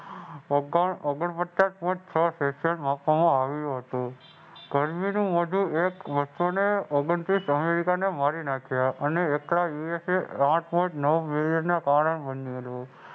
ઓગણપચાસ Point છ આપવામાં આવ્યું હતું. ગરમીનું એક ઓગણત્રીસ અમેરિકાને મારી નાખ્યા. અને એકલા યુએસએ